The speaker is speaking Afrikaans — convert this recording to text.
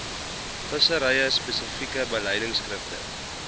vissery spesifieke beleidskrifte